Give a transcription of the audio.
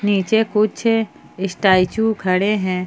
नीचे कुछ स्टैचू खड़े हैं।